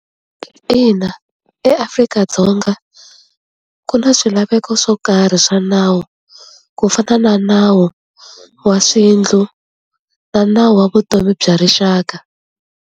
Ina eAfrika-Dzonga ku na swilaveko swo karhi swa nawu ku fana na nawu wa na nawu wa vutomi bya rixaka.